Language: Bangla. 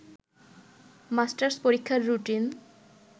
মাস্টার্স পরীক্ষার রুটিন